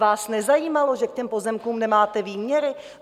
Vás nezajímalo, že k těm pozemkům nemáte výměry?